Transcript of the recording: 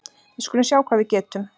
Við skulum sjá hvað við getum